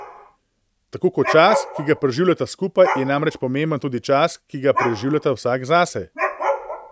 Tako kot čas, ki ga preživljata skupaj, je namreč pomemben tudi čas, ki ga preživljata vsak zase.